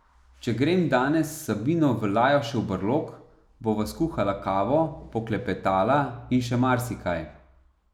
Če grem danes s Sabino v Lajošev brlog, bova skuhala kavo, poklepetala in še marsikaj.